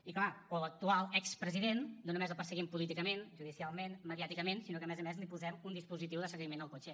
i clar a l’actual expresident no només el perseguim políticament judicialment mediàticament sinó que a més a més li posem un dispositiu de seguiment al cotxe